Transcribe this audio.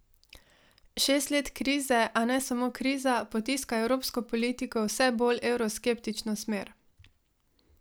Šest let krize, a ne samo kriza, potiska evropsko politiko v vse bolj evroskeptično smer.